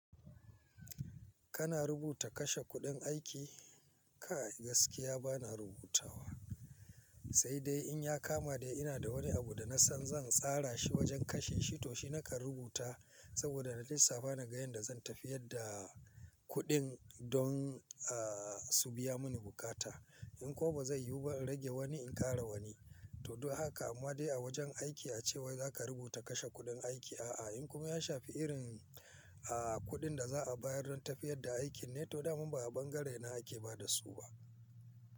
Kana rubuta kashe kuɗin aiki? Kai a gaskiya bana rubutawa, sai dai in ya kama dai ina da wani abu da na san zan tsara shi wajen kashe shi to shi naka rubuta saboda na lissafa naga yanda zan tafiyar da kuɗin don aa su biya mun bukata. In kuma ba zai yiwu ba rage wani in ƙara wani. To don haka amma dai a wajen aiki a ce wai zaka rubuta kashe kuɗin aiki a a, in kuma ya shafi irin a kuɗin da za a bayar don tafiyar da aikin ne to dama ba a bangarena ake ba da su ba.